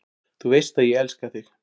Þú veist að ég elska þig.